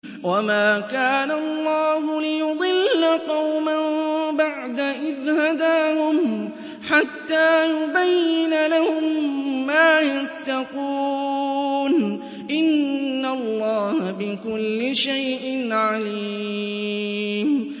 وَمَا كَانَ اللَّهُ لِيُضِلَّ قَوْمًا بَعْدَ إِذْ هَدَاهُمْ حَتَّىٰ يُبَيِّنَ لَهُم مَّا يَتَّقُونَ ۚ إِنَّ اللَّهَ بِكُلِّ شَيْءٍ عَلِيمٌ